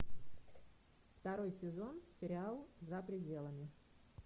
второй сезон сериал за пределами